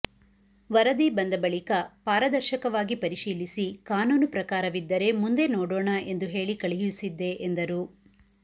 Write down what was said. ವರದಿ ಬಂದ ಬಳಿಕ ಪಾರದರ್ಶಕವಾಗಿ ಪರಿಶೀಲಿಸಿ ಕಾನೂನು ಪ್ರಕಾರವಿದ್ದರೆ ಮುಂದೆ ನೋಡೋಣ ಎಂದು ಹೇಳಿ ಕಳುಹಿಸಿದ್ದೆ ಎಂದರು